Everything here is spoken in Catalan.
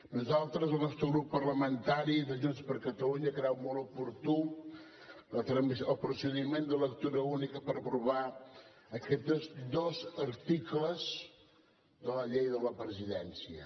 nosaltres el nostre grup parlamentari de junts per catalunya creu molt oportú el procediment de lectura única per aprovar aquests dos articles de la llei de la presidència